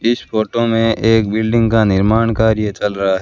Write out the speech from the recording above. इस फोटो में एक बिल्डिंग का निर्माण कार्य चल रहा--